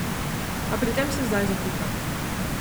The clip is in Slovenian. A pri tem se zdaj zatika.